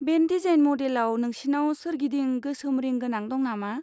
Band design मडेलआव, नोंसिनाव सोरगिदिं गोसोम रिं गोनां दं नामा?